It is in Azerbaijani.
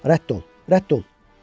Rədd ol, rədd ol!